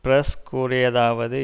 press கூறியதாவது